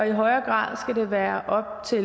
i højere grad skal være op til